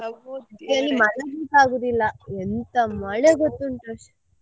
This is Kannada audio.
ಮಲಗ್ಲಿಕ್ಕೆ ಆಗುದಿಲ್ಲ ಎಂತ ಮಳೆ ಗೊತ್ತುಂಟಾ.